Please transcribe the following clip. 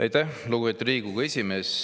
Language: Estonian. Aitäh, lugupeetud Riigikogu esimees!